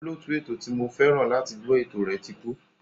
Olóòtú ètò ti mo fẹ́ràn láti gbọ́ ètò rẹ̀ ti kú.